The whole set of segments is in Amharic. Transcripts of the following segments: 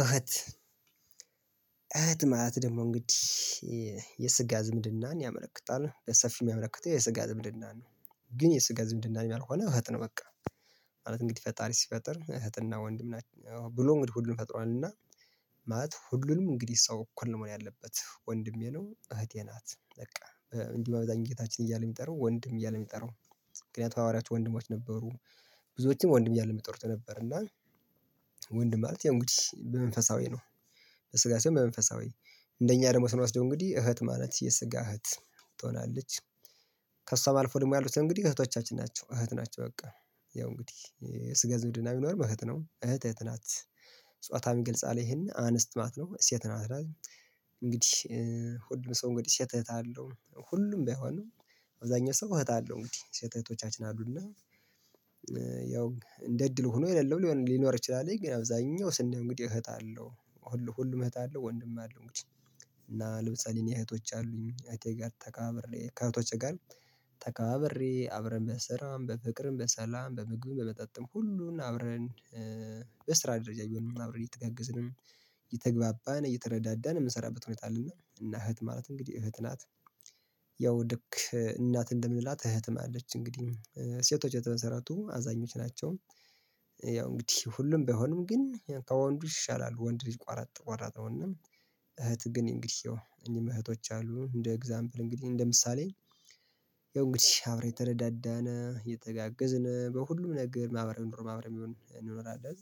እህት እህት ማለት ደግሞ እንግዲህ የ የስጋ ዝምድናን ያመለክታል በሰፊው የሚያመለክተው የስጋ ዝምድና ነው ግን የስጋ ዝምድናም ያልሆነ እህት ነው በቃ ማለት እንግዲህ ፈጣሪ ሲፈጥር እህትና ወንድም ናችሁ ብሎ እንግዲ ሁሉን ፈጥሯል እና ማለት ሁሉንም እንግዲህ ሰው እኩል ነው መሆን ያለበት ወንድሜ ነው እህቴ ናት በቃ። እንዲ በአብዛኛው ጌታችን እያለ የሚጠራው ወንድም እያለ የሚጠራው ምክንያቱም ሐዋርያት ወንድሞች ነበሩ ብዙዎችም ወንድም እያለ ሚጠሩት የነበረ እና ወንድም ማለት ያው እንግዲህ በመንፈሳዊ ነው በስጋ ሳይሆን በመንፈሳዊ እንደኛ ደግሞ ስንወስደው እንግዲህ እህት ማለት የስጋ እህት ትሆናለች ከሷም አልፎ ደግሞ ያሉት እንግዲህ እህቶቻችን ናቸው እህት ናቸው በቃ ያው እንግዲህ የስጋ ዝምድና ቢሚኖርም አህት ነው እህት እህት ናት ጻታውን ይግልጻል ይሄን አነስት ማለት ነው። ሴት ናት እንግዲህ ሁሉም ሰው እንግዲህ ሴት እህት አለው ሁሉም ባይሆንም አብዛኛው ሰው እህት እለው እንግዲህ ሴት እህቶቻችን አሉና ያው እንደ እድል ሆኖ የሌለው ሊኖር ይችላልኝ ግን አብዛኛው ስናየው እንግዲህ እህት አለው ሁሉ ሁሉም እህት አለው ወንድም አለው እንግዲህ እና ለምሳሌ እኔ እህቶች አሉኝ እህቴ ጋር ተከባብሬ ከእህቶቼ ጋር ተከባብሬ አብረን በስራም በፍቅርም በሰላም በምግብም በመጠጥም ሁሉን አብረን በስራ ደረጃ ቢሆንም አብረን እየተጋገዝንም እየተግባባን እየተረዳዳን የምንሰራበት ሁኔታ አለና እና እህት ማለት እንግዲህ እህት ናት ያው ልክ እናት እንደምንላት እህትም አለች እንግዲህ ሴቶች የተመሰረቱ አዛኞች ናቸው ያው እንግዲህ ሁሉም ባይሆንም ግን ያን ከወንዱ ይሻላል ወንድ ልጅ ቆረጥ ቋራጥ ነው እና እህት ግን እንግዲህ ያው እኔም እህቶች አሉ እንደ ኤግዛምፕል እንግዲህ እንደ ምሳሌ ያው እንግዲህ አብረን እየተረዳዳን እየተጋገዝን በሁሉም ነገር ማህበራዊ ኑሮ አብረን ቢሆን እንኖራለን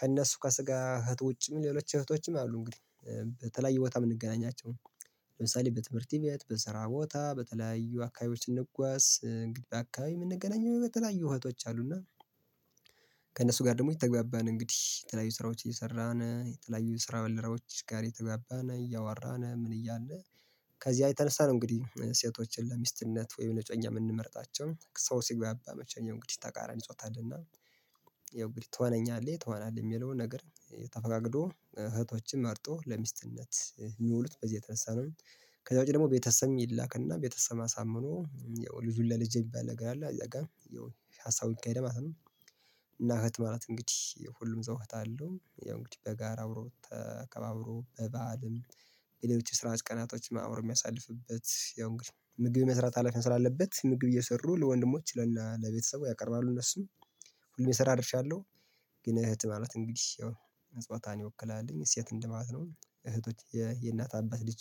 ከእነሱ ከስጋ እህት ውጭም ሌሎች እህቶችም አሉ እንግዲህ በተለያየ ቦታ የምንገናኛቸው ለምሳሌ በትምህርት ቤት በስራ ቦታ በተለያዩ አካባቢዎች ስንጓዝ እንግዲህ አካባቢ የምንገናኘው በተለያዩ እህቶች አሉና ከእነሱ ጋር ደግሞ እየተግባባን እንግዲህ የተለያዩ ስራዎች እየሰራን የተለያዩ የስራ ባልደረባዎች ጋር እየተግባባን እያወራን ምን እያለን ከዚያ የተነሳ ነው እንግዲህ ሴቶችን ለሚስትነት ወይም ለእጮኛ የምንመርጣቸው ሰው ሲግባባ መቼም ያው እንግዲህ ተቃራኒ ጾታ አለና ያው እንግዲህ ትሆነኛለህ ትሆናለህ የሚለውን ነገር ተፈቃቅዶ እህቶችን መርጦ ለሚስትነት የሚውሉት በዚህ የተነሳ ነው ከዛ ውጪ ደግሞ ቤተሰብም ይላክና ቤተሰብ አሳምኖ ያው ልጁን ለልጄ የሚባል ነገር አለ አዛጋ ያው ሀሳቡ ይካሄዳል ማለት ነው እና እህት ማለት እንግዲህ ሁሉም ሰው እህት አለው ያው እንግዲህ በጋራ አብሮ ተከባብሮ በበዓልም የሌሎች የስራዎች ቀናቶችም አብሮ የሚያሳልፍበት ያው እንግዲህ ምግብ መስራት ሀላፊነት ስላለበት ምግብ እየሰሩ ለወንድሞች ለ እና ለቤተሰቡ ያቀርባሉ እነሱም ሁሉም የሰራ ድርሻ አለው ግን እህት ማለት እንግዲህ ያው ጻታን ይወክላል ሴት እንደ ማለት ነው። እህቶች የእናት አባት ልጅ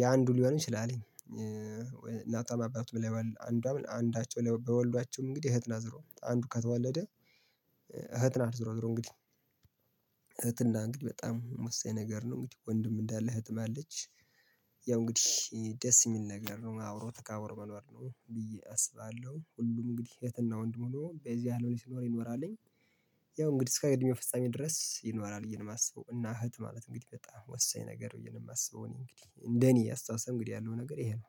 የአንዱ ሊሆንም ይችላልኝ እናቶም አባቱም ብለው አንዷ አንዳቸው ላይ ቢወልዷቸው እንግዲህ እህት ናት ዞሮ አንዱ ከተወለደ እህት ናት ዞሮ ዞሮ እንግዲህ እህት እና እንግዲህ በጣም ወሳኝ ነገር ነው እንግዲህ ወንድም እንዳለ እህትም አለች ያው እንግዲህ ደስ የሚል ነገር ነው አብሮ ተከባብሮ መኖር ነው ብዬ አስባለሁ ሁሉም እንግዲህ እህትና ወንድም ሆኖ በዚ አለም ሲኖር ይኖራልኝ ያው እንግዲህ እስከ እድሜው ፍጻሜ ድረስ ይኖራል ብዬ ነው የማስበው እና እህት ማለት እንግዲህ በጣም ወሳኝ ነገር ብዬ ነው የማስበው እኔ እንግዲህ እንደኔ አስተሳሰብ እንግዲህ ያለው ነገር ይሄ ነው